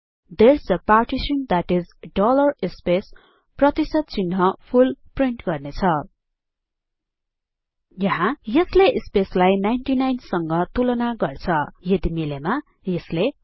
Therese a partition that is dollar space full print गर्ने छ यहाँ यसले स्पेस लाई 99 सँग तुलना गर्छ यदि मिलेमा यसले हरी